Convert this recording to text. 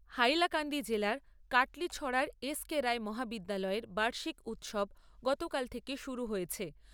হাইলাকান্দি জেলার কাটলিছড়ার S K Roy মহাবিদ্যালয়ের বার্ষিক উৎসব গতকাল থেকে শুরু হয়েছে।